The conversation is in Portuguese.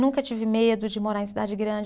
Nunca tive medo de morar em cidade grande.